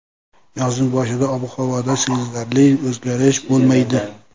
Yozning boshida ob-havoda sezilarli o‘zgarish bo‘lmaydi.